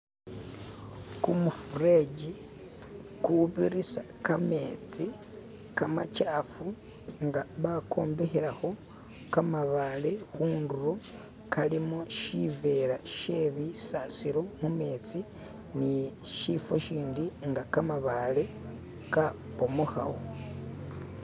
Kumufuleeji ugubitisa gamenzi gamakyafu nga bayombekerako gamabale kunturo gagalimo shiveera she bisasiro mumenzi ni shifo shindi nga gamabaale gabbumukawo